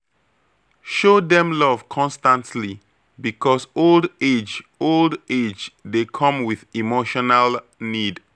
Show dem love constantly, because old age old age dey come with emotional need.